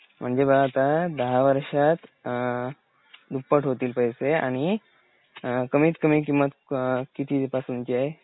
म्हणजे पाहें आता दहा वर्षात अ दुप्पट होतील पैसे आणि `कमीत कमी किंम्मत किती पासूनची आहे.